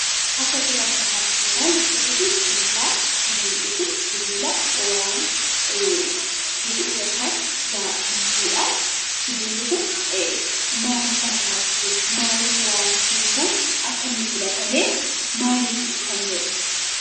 Akka suuraa kanarraatti kan ilaalluu suurri kun sibiilaa, sibiilli kun sibiila waa hidhuu yookaan waa hiikuudha. Sibiilli kun maaliif barbaachise? Maaliif waa hiikuuf akka inni filatamee, maaliif kan jedhu?